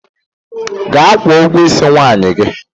Gaa kwuọ ụgwọ isi nwunye gị!